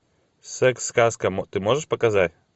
секс сказка ты можешь показать